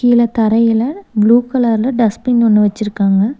கீழ தரையில ப்ளூ கலர்ல டஸ்ட்பின் ஒன்னு வெச்சிருக்காங்க.